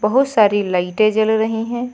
बहुत सारी लाइटे जल रही है।